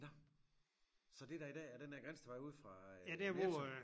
Nåh så det der i dag er den der Grindstedvej ude fra øh Netto